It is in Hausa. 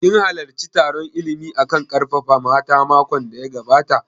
Kin halarci taron illimi a kan ƙarfafa mata makon da ya gabata?